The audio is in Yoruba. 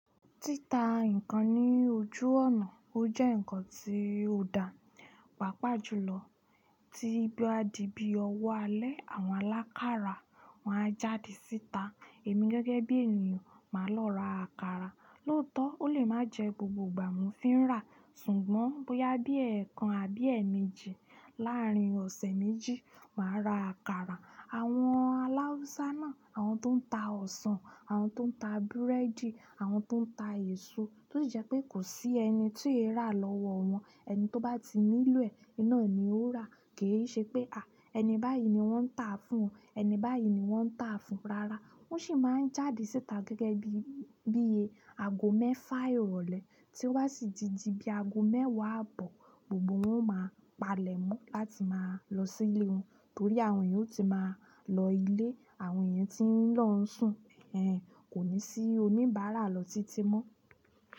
Títa nǹkan ní ojú ọ̀nà ó jẹ́ ǹkan tí ó dà wà pà jùlọ tí bí ó di bí ọwọ́ alẹ́ àwọn alákarà wáa jáde síta. Èmi gẹ́gẹ́ bí ènìyàn máa lọ ra àkàrà, lóòtọ́ ó lè máa jẹ gbogbo ìgbà mo fi ń rà, ṣùgbọ́n bóyá bí ẹẹkan àbí ẹẹ̀mẹjì láàrin ọ̀sẹ̀ méjì máa ra àkàrà. Àwọn aláhaùsá náà, àwọn tó ń ta ọsàn, àwọn tó ń ta búrẹ́dì, àwọn tó ń ta èso tó jẹ́ pé kò sí ẹni tí yóò rà lọ́wọ́ wọn. Ẹni tó bá ti nílò ẹ̀, iná ni ó rà, kì í ṣe pé, à! Ẹni báyìí ni wọ́n ń tà fún, ẹni báyìí ni wọ́n ń tà fún. Rárá, wọ́n sì máa ń jáde síta gẹ́gẹ́ bí, bí i ago mẹ́fà ìrọ̀lẹ́ tí ó bá sì ti di bí ago mẹ́wàá àbọ̀ gbogbo wọn máa palẹ̀ mọ́ láti máa lọ sí ilẹ̀ wọn torí àwọn èèyàn ó ti máa lọ ilé, àwọn èèyàn tí ń lọ ń sùn, ẹ ǹ, kò ní sí oníbàárà lọ títí mọ́.